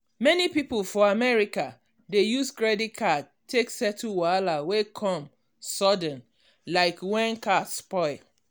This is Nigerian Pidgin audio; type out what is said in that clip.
many people for america dey use credit card take settle wahala wey come sudden like when car spoil.